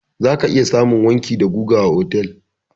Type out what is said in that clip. Za ka iya samun wanki da guga a otal.